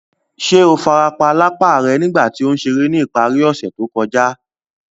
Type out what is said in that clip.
Ṣe o farapa lapa rẹ nigba ti o n ṣere ni ìparí ọse to kója?